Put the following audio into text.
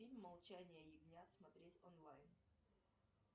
фильм молчание ягнят смотреть онлайн